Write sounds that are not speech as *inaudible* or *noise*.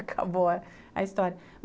*laughs* Acabou a história.